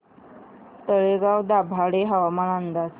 तळेगाव दाभाडे हवामान अंदाज